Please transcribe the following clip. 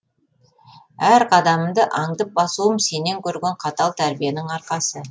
әр қадамымды аңдып басуым сенен көрген қатал тәрбиенің арқасы